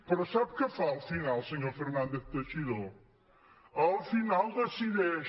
però sap què fa al final senyor fernández teixidó al final decideix